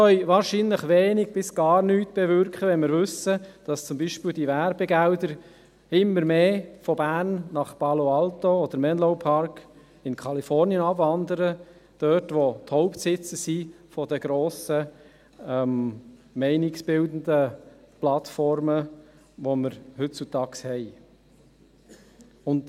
Wahrscheinlich können wir wenig bis gar nichts bewirken, da wir wissen, dass zum Beispiel die Werbegelder immer mehr von Bern nach Palo Alto oder Menlo Park, Kalifornien, abwandern, dort, wo sich die Hauptsitze der grossen meinungsbildenden Plattformen befinden, die wir heutzutage haben.